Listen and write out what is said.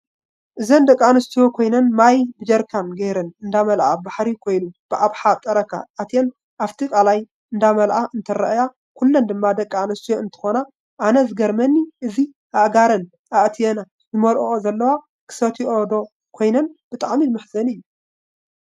እዚ ደቂ ኣንስትዮ ኮይነን ማይ ብጀረካን ገይረን እደመልኣ ባሕሪ ኮይኑ ብብሓ ጠረካ ኣትየን ኣፍቲ ቃላይ እደመላኣ እንትራኣያ ኩለን ድማ ደቂ ኣንስትዮ እንትከና ኣነ ዝገሪመኒ እዚ ኣእጋረን ኣእትያን ዝመለኦኦ ዘለዋ ክስትይ ዶ ይኮን ብጣዓሚ መሕዘኒ እዩ!